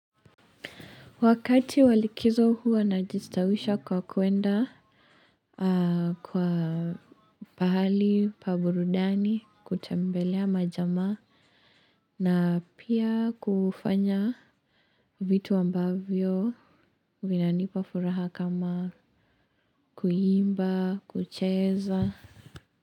Wakati wa likizo huwa najistawisha kwa kuenda. Kwa pahali pa burudani kutembelea majamaa. Na pia kufanya vitu ambavyo vinanipa furaha kama kuimba kucheza.